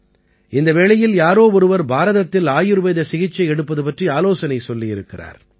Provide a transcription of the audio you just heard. இந்த வேளையில் யாரோ ஒருவர் பாரதத்தில் ஆயுர்வேத சிகிச்சை எடுப்பது பற்றி ஆலோசனை சொல்லியிருக்கிறார்